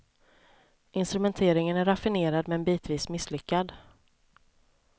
Instrumenteringen är raffinerad men bitvis misslyckad.